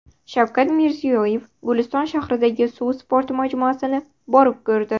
Shavkat Mirziyoyev Guliston shahridagi suv sporti majmuasini borib ko‘rdi.